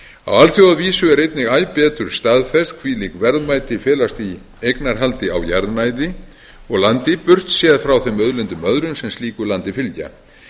á alþjóðavísu er einnig æ betur staðfest hvílík verðmæti felast í eignarhaldi á jarðnæði og landi burtséð frá þeim auðlindum öðrum sem slíku landi fylgja